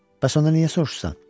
Bəs onda niyə soruşursan?